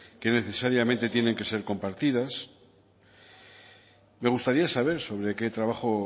que necesariamente tiene que ser compartidas me gustaría saber sobre qué trabajo